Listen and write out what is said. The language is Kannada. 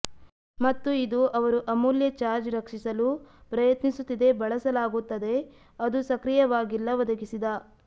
ಮತ್ತು ಇದು ಅವರು ಅಮೂಲ್ಯ ಚಾರ್ಜ್ ರಕ್ಷಿಸಲು ಪ್ರಯತ್ನಿಸುತ್ತಿದೆ ಬಳಸಲಾಗುತ್ತದೆ ಅದೂ ಸಕ್ರಿಯವಾಗಿಲ್ಲ ಒದಗಿಸಿದ